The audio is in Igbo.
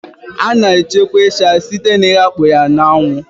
Sun drying is the main process used for the preservation of crayfish